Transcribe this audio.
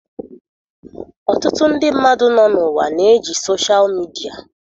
Ọtụtụ ndị mmadụ nọ n'ụwa na-eji soshal midia.